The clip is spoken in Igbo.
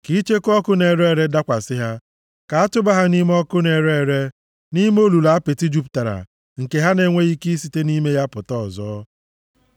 Ka icheku ọkụ na-ere ere dakwasị ha; ka a tụba ha nʼime ọkụ na-ere ere, nʼime olulu apịtị jupụtara, nke ha na-enweghị ike isite nʼime ya pụta ọzọ.